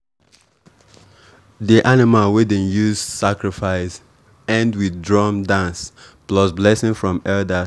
di animal wey dem use sacrifice end with drum dance plus blessing from elders.